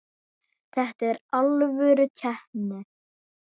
Þetta er alvöru keppni.